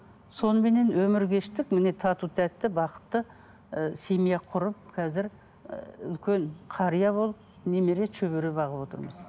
соныменен өмір кештік міне тату тәтті бақытты ы семья құрып қазір ы үлкен қария болып немере шөбере бағып отырмыз